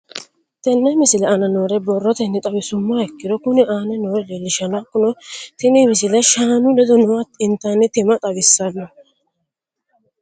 Tenne misile aana noore borrotenni xawisummoha ikirro kunni aane noore leelishano. Hakunno tinni misile shaanu ledo nooha intanni timma xawissanno.